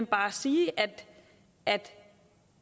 bare sige at